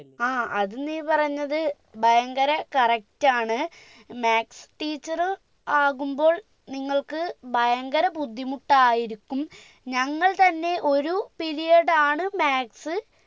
ആ അത് നീ പറഞ്ഞത് ഭയങ്കര correct ആണ് maths teacher ആകുമ്പോൾ നിങ്ങൾക്ക് ഭയങ്കര ബുദ്ധിമുട്ടായിരിക്കും ഞങ്ങൾ തന്നെ ഒരു period ആണ് maths